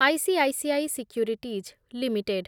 ICICI Securities limited